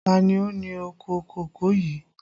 Ta ni ó ní oko kòkó yìí?